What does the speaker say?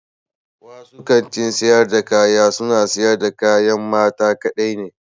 Wasu kantin sayar da kaya suna siyar da kayan mata kaɗai ne.